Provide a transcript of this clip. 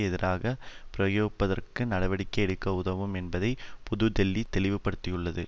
எதிராக பிரயோகிப்பதற்கு நடவடிக்கை எடுக்க உதவும் என்பதை புது தில்லி தெளிவுபடுத்தியுள்ளது